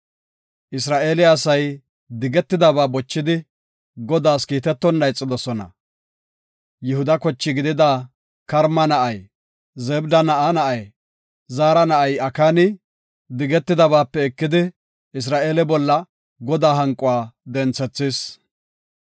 Isra7eele asay digetidabaa bochidi, Godaas kiitetonna ixidosona. Yihuda koche gidida Karma na7ay, Zebda na7aa na7ay, Zaara na7ay Akaani, digetidabatape ekidi Isra7eele bolla Godaa hanquwa denthis.